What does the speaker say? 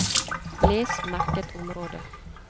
Les merket område